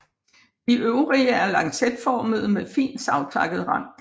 De øvre er lancetformede med fint savtakket rand